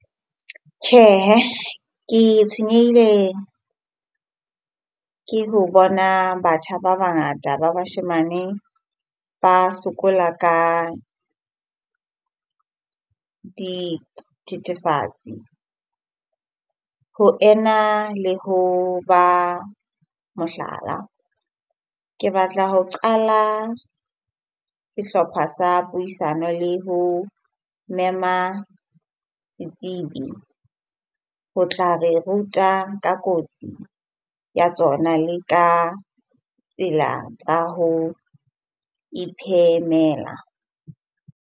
Tjhehe, ke tshwenyehile ke ho bona batjha ba bangata ba bashemane ba sokola ka dithethefatsi ho ena le ho ba, mohlala. Ke batla ho qala sehlopha sa puisano le ho mema setsibi ho tla re ruta ka kotsi ya tsona le ka tsela tsa ho iphemela.